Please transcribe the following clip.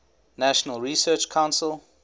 national research council